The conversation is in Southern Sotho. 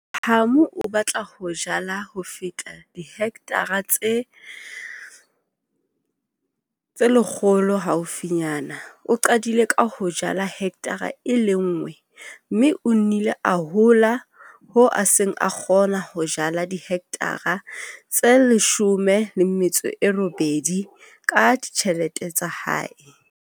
Hamu o batla ho jala ho feta dihekthara tse 100 haufinyana o qadile ka ho jala hekthara e le nngwe, mme o nnile a hola hoo a seng a kgona ho jala dihekthara tse 18 ka ditjhelete tsa hae.